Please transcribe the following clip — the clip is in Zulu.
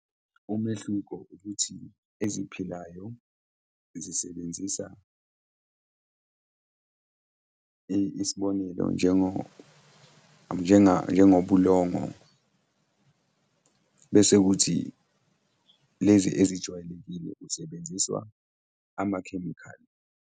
Umehluko ukuthi eziphilayo zisebenzisa, isibonelo njengobulongo, bese kuthi lezi ezijwayelekile kusebenziswa amakhemikhali.